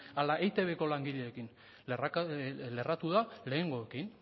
ala eitb langileekin lerratu da lehengoekin